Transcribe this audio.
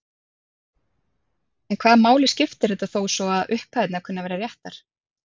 En hvaða máli skiptir þetta þó svo að upphæðirnar kunni að vera réttar?